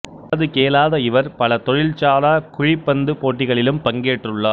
காது கேளாத இவர் பல தொழில்சாரா குழிப்பந்து போட்டிகளிலும் பங்கேற்றுள்ளார்